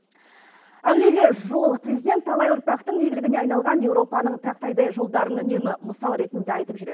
әуелі жол президент талай ұрпақтың игілігіне айналған еуропаның тақтайдай жолдарын үнемі мысал ретінде айтып жүреді